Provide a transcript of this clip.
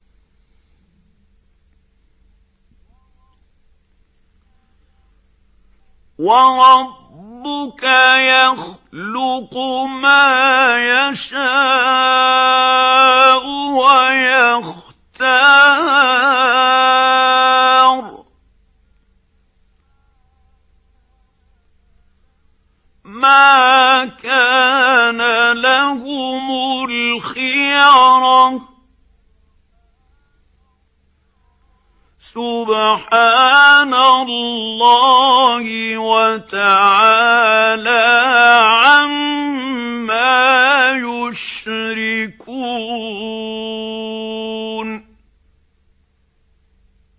وَرَبُّكَ يَخْلُقُ مَا يَشَاءُ وَيَخْتَارُ ۗ مَا كَانَ لَهُمُ الْخِيَرَةُ ۚ سُبْحَانَ اللَّهِ وَتَعَالَىٰ عَمَّا يُشْرِكُونَ